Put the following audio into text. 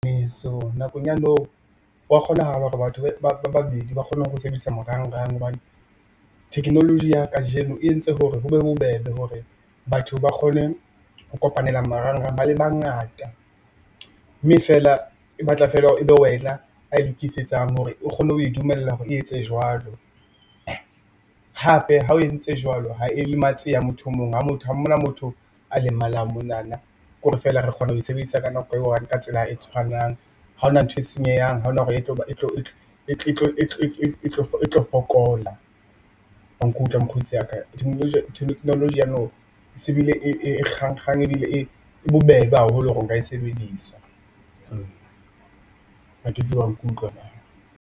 Nakong ya now, hwa kgona hala hore batho ba babedi ba kgone ho sebedisa marangrang hobane technology ya kajeno e entse hore ho be bobebe hore batho ba kgone ho kopanela marangrang ba le bangata, mme feela e batla feela hore ebe wena a lokisetsang hore o kgone ho e dumella hore e etse jwalo. Hape ha o entse jwalo ha e lematse ya motho emong ha ona motho a le malang monana ke hore feela re kgona ho e sebedisa ka nako e i one ka tsela e tshwanang ha hona ntho e senyehang. Ha hona hore e tlo fokola wa nkutlwa mokgotsi wa ka technology ya now se bile e bobebe haholo hore o ka e sebedisa. Ha ke tsebe wa nkutlwa na.